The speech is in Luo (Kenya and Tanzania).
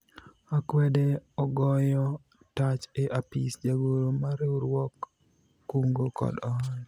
akwede ogoyo tach e apis jagoro mar riwruog kungo kod hola